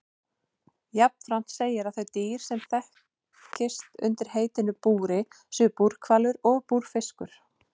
Jafnframt segir að þau dýr sem þekkist undir heitinu búri séu búrhvalur og búrfiskur.